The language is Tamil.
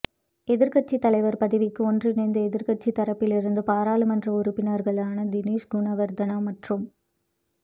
எதிர்க்கட்சி தலைவர் பதவிக்கு ஒன்றிணைந்த எதிர்க்கட்சி தரப்பிலிருந்து பாராளுமன்ற உறுப்பினர்களான தினேஸ் குணவர்தன மற்றும்